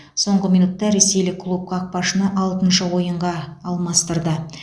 соңғы минутта ресейлік клуб қақпашыны алтыншы ойынға алмастырды